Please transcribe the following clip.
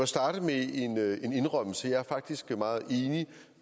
starte med en indrømmelse jeg er faktisk meget enig